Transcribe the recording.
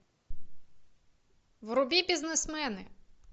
вруби бизнесмены